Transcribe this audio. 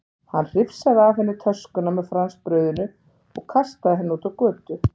Hann hrifsaði af henni töskuna með franskbrauðinu og kastaði henni út á götu.